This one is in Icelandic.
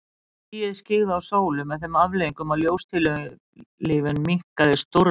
Skýið skyggði á sólu með þeim afleiðingum að ljóstillífun minnkaði stórlega.